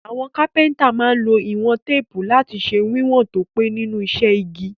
Àwon carpenter má n lo ìwón tape lati se wíwòn to pé nínú isẹ́ igi